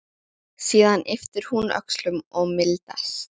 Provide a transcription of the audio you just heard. Síðan ypptir hún öxlum og mildast.